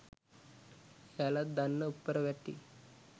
එයාලත් දන්න උප්පරවැට්ටි